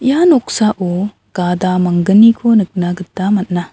ia noksao gada manggniko nikna gita man·a.